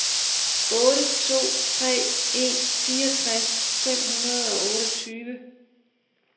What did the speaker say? otte to tre en fireogtres fem hundrede og otteogtyve